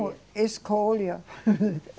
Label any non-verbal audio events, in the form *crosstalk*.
Escolha. *laughs*